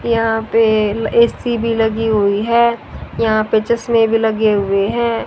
यहां पे ए_सी भी लगी हुई है यहां पर चश्मे भी लगे हुए हैं।